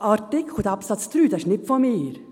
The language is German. Dieser Absatz ist nicht von mir.